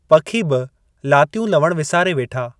पखी बि लातियूं लवणु विसारे वेठा।